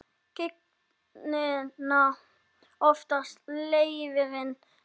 Gigtina oftast leirinn léttir.